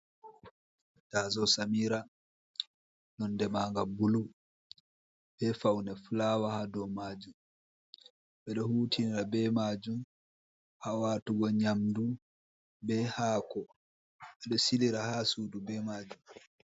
Taaso samira nonde maanga bulu be faune fulawa ha dou majum beɗo hutinira be majum haa waatugo nyamdu be hako ɓeɗo silira haa sudu be majum.